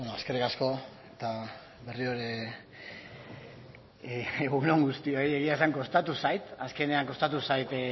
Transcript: eskerrik asko eta berriro ere egun on guztioi egia esan kostatu zait azkenean kostatu zait